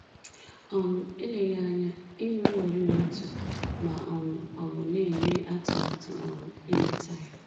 um Eleghị anya, i nweworị otu, ma um ọ bụ na-eme atụmatụ um inweta ya.